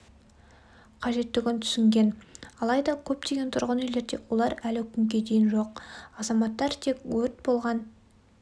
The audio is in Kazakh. қажеттігін түсінген алайда көптеген тұрғын үйлерде олар әлі күнге дейін жоқ азаматтар тек өрт болған